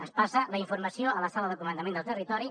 es passa la informació a la sala de comandament del territori